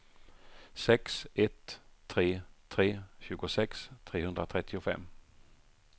sex ett tre tre tjugosex trehundratrettiofem